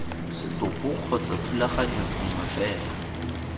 setopo kgotsa thulaganyo nngwe fela